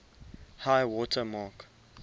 high water mark